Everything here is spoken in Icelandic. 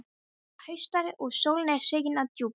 Það haustar, og sólin er sigin að djúpi.